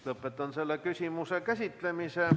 Lõpetan selle küsimuse käsitlemise.